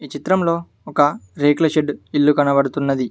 చిత్రంలో ఒక రేకుల షెడ్డు ఇల్లు కనబడుతున్నది.